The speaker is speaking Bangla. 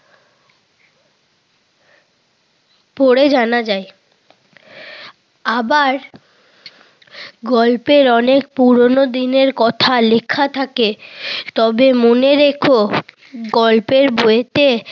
পড়ে জানা যায়। আবার গল্পের অনেক পুরোনো দিনের কথা লিখা থাকে। তবে মনে রেখ গল্পের বইতে